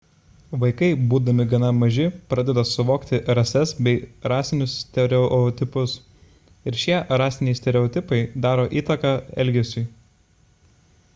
vaikai būdami gana maži pradeda suvokti rases bei rasinius stereotipus ir šie rasiniai stereotipai daro įtaką elgesiui